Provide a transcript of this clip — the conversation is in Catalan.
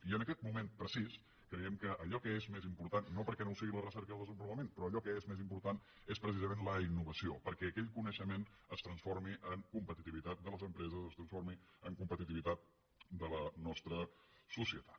i en aquest moment precís creiem que allò que és més important no perquè no ho siguin la recerca i el desenvolupament però allò que és més important és precisament la innovació perquè aquell coneixement es transformi en competitivitat de les empreses es transformi en competitivitat de la nostra societat